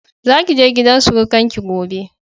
Za ki je gidan surukar ki gobe